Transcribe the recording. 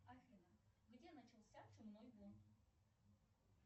афина где начался чумной бунт